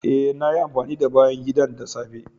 Eh, nayi amfani da bayan gidan da safe.